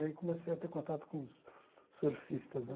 Aí comecei a ter contato com os surfistas né.